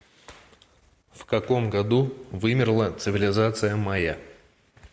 в каком году вымерла цивилизация майя